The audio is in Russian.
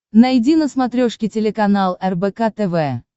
найди на смотрешке телеканал рбк тв